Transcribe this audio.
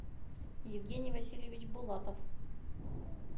евгений васильевич булатов